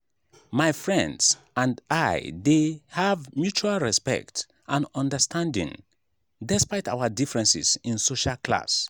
my friends and i dey have mutual respect and understanding despite our differences in social class.